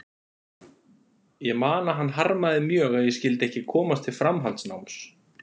Ég man að hann harmaði mjög að ég skyldi ekki komast til framhaldsnáms.